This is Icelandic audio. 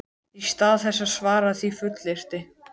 Í stað þess að svara því fullyrti